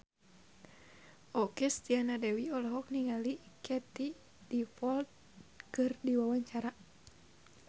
Okky Setiana Dewi olohok ningali Katie Dippold keur diwawancara